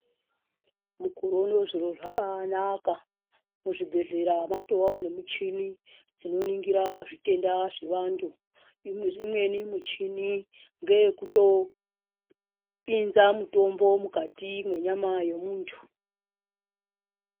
Mukore unowu zviro zvabaanaka. Muzvibhedhlera matovawo nemuchini dzinoningira zvitenda zvevantu. Imweni muchini ngeyekutopinza mutombo mukati mwenyama yomuntu.